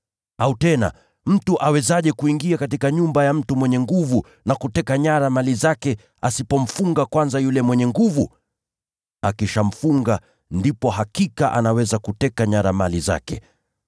“Au tena, mtu awezaje kuingia katika nyumba ya mtu mwenye nguvu na kuteka nyara mali zake asipomfunga kwanza yule mwenye nguvu? Akishamfunga, ndipo hakika anaweza kuteka nyara mali zake.